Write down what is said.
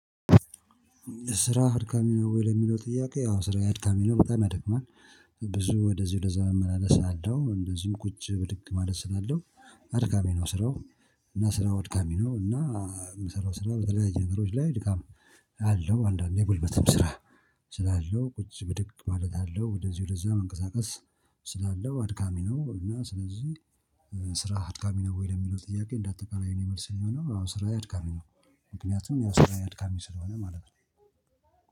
ስራህ አድካሚ ነው ወይ? ለሚለው ጥያቄ አዎ ስራዬ አድካሚ ነው በጣም ያደክማል። ብዙ ወደዚ ወደዛ እመላለሳለሁ እንደዚሁም ቁጭ ብድግ ማለት ስላለው አድካሚ ነው። ስራው እና ስራው አድካሚ ነው። እና የምሰራው ስራ በተለያየ ነገሮች ላይ ድካም አለው። አንዳንዴ የጉልበትም ስራ ስላለው ቁጭ ብድግ ማለት አለው። ወደዚ ወደዛ መንቀሳቀስ ስላለው አድካሚ ነው። እና ስለዚህ ስራህ አድካሚ ነው ወይ? ለሚለው ጥያቄ እንደአጠቃላይ የኔ መልስ የሚሆነው አዎ ስራዬ አድካሚ ነው። ምክንያቱም ያው ስራዬ አድካሚ ስለሆነ ማለት ነው